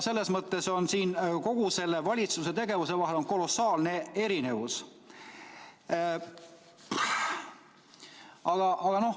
Selles mõttes on nende kahe valitsuse tegevuse vahel kolossaalne erinevus.